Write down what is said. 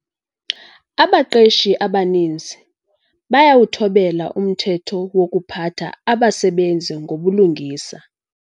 Abaqeshi abaninzi bayawuthobela umthetho wokuphatha abasebenzi ngobulungisa.